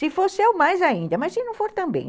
Se for seu, mais ainda, mas se não for também.